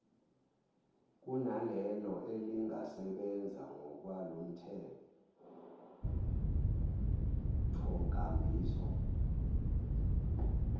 kunalelo elingasebenza ngokwalomthethonkambiso